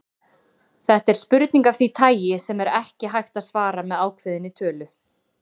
Þetta er spurning af því tagi sem er ekki hægt að svara með ákveðinni tölu.